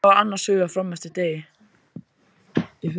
Kamilla var annars hugar fram eftir degi.